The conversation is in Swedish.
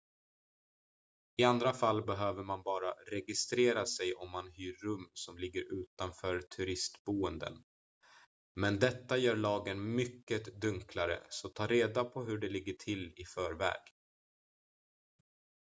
i andra fall behöver man bara registrera sig om man hyr rum som ligger utanför turistboenden men detta gör lagen mycket dunklare så ta reda på hur det ligger till i förväg